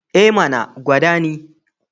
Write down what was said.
E mana! gwada ni.